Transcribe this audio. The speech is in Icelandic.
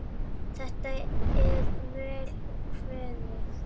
Þetta er vel kveðið.